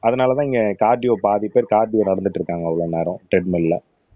அதனாலதான் இங்க கார்டியோ பாதி பேர் கார்டியோ நடந்துட்டு இருக்காங்க அவ்வளவு நேரம் ட்ரெட் மில்ல